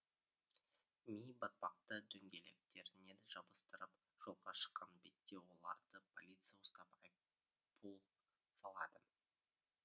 ми батпақты дөңгелектеріне жабыстырып жолға шыққан бетте оларды полиция ұстап айыппұл салады